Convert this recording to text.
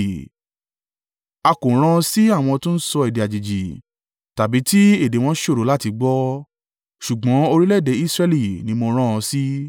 A kò rán ọ sí àwọn tó ń sọ èdè àjèjì tàbí tí èdè wọn ṣòro láti gbọ́, ṣùgbọ́n orílẹ̀-èdè Israẹli ni mo rán ọ sí